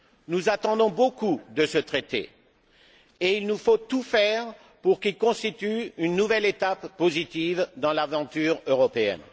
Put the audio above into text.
Nous attendons beaucoup de ce Traité, et il nous faut tout faire pour qu'il constitue une nouvelle étape positive dans l'aventure européenne.